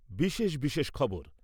বিশেষ বিশেষ খবর